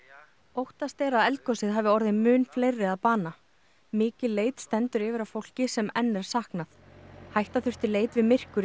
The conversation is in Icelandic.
óttast er að eldgosið hafi orðið mun fleiri að bana mikil leit stendur yfir að fólki sem enn er saknað hætta þurfti leit við myrkur í